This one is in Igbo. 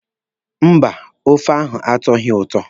Mba, ófé ahụ atọghị m ụtọ.